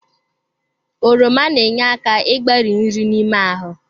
Oroma na-enye aka igbari nri n'ime ahụ.